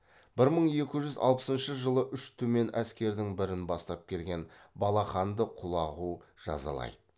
бір мың екі жүз алпысыншы жылы үш түмен әскердің бірін бастап келген балаханды құлағу жазалайды